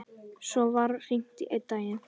Svo var hringt einn daginn.